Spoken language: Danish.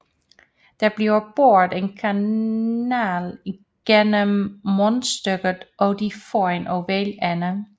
Der bliver boret en kanal gennem mundstykket og det får en oval ende